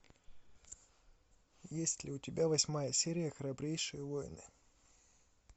есть ли у тебя восьмая серия храбрейшие воины